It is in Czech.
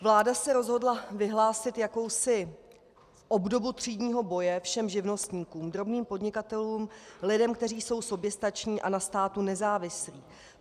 Vláda se rozhodla vyhlásit jakousi obdobu třídního boje všem živnostníkům, drobným podnikatelům, lidem, kteří jsou soběstační a na státu nezávislí.